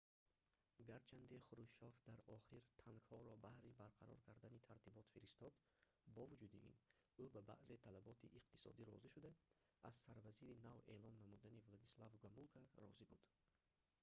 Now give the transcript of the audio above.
гарчанде хрушёв дар охир танкҳоро баҳри барқарор кардани тартибот фиристод бо вуҷуди ин ӯ ба баъзе талаботи иқтисодӣ розӣ шуда аз сарвазири нав эълон намудани владислав гомулка розӣ буд